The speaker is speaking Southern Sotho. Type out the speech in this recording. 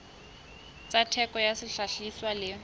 tsa theko ya sehlahiswa le